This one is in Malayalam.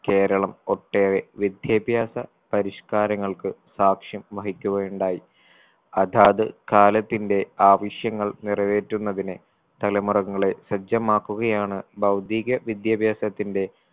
കേരളം ഒട്ടേറെ വിദ്യാഭ്യാസ പരിഷ്‌ക്കാരങ്ങൾക്ക് സാക്ഷ്യം വഹിക്കുകയുണ്ടായി അതാത് കാലത്തിന്റെ ആവശ്യങ്ങൾ നിറവേറ്റുന്നതിന് തലമുറങ്ങളെ സജ്ജമാക്കുകയാണ് ഭൗതീക വിദ്യാഭ്യാസത്തിന്റെ